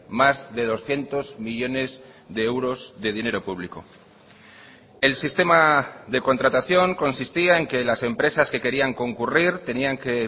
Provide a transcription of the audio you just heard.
más de doscientos millónes de euros de dinero público el sistema de contratación consistía en que las empresas que querían concurrir tenían que